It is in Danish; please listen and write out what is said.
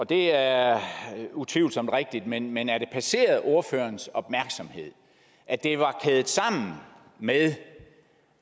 det er utvivlsomt rigtigt men men har det passeret ordførerens opmærksomhed at det var kædet sammen med